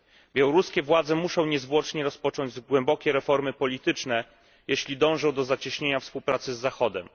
Białoruskie władze muszą niezwłocznie rozpocząć głębokie reformy polityczne, jeśli dążą po zacieśnienia współpracy z Zachodem.